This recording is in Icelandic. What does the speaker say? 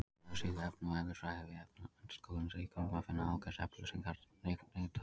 Á vefsíðu efna- og eðlisfræði við Menntaskólann í Reykjavík má finna ágætis upplýsingar tengdar þessu.